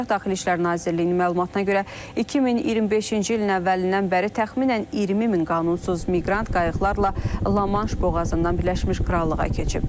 Daxili İşlər Nazirliyinin məlumatına görə 2025-ci ilin əvvəlindən bəri təxminən 20 min qanunsuz miqrant qayıqlarla La-Manş boğazından Birləşmiş Krallığa keçib.